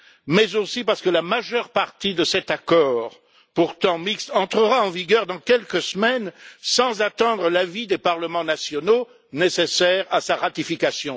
mais aussi parce que la majeure partie de cet accord, pourtant mixte, entrera en vigueur dans quelques semaines sans attendre l'avis des parlements nationaux nécessaire à sa ratification.